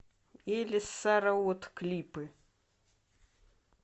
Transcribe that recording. элис сара отт клипы